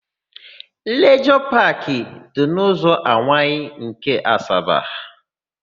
Lijọọ Paakị dị n'ụzọ Anwaị nke Asaba.